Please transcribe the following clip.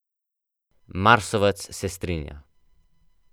Marsovec se strinja.